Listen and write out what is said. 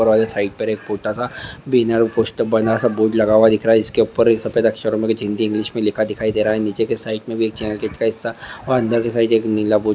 ऊपर वाले साइड पर एक छोटा सा बैनर पोस्टर बना सा बोर्ड लगा हुआ इसके ऊपर सफेद अक्षरों में कुछ हिंदी इंग्लिश में लिखा दिखई दे रहा है। निचे के साइड में का हिस्सा और अंदर के साइड में एक नीला बोर्ड --